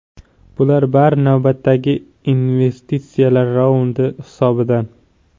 Bular bari navbatdagi investitsiyalar raundi hisobidan.